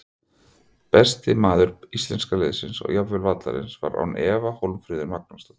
Besti maður íslenska liðsins og jafnvel vallarins var án efa Hólmfríður Magnúsdóttir.